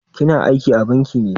Ki na aiki a banki ne?